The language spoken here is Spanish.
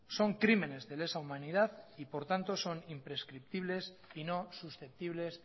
son crímenes de lesa humanidad y por tanto son imprescriptibles y nos susceptibles